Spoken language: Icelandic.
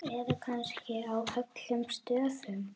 Eða kannski á öllum stöðum?